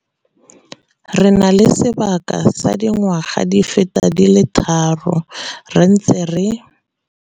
Re na le sebaka sa dingwaga di feta di le tharo re ntse re.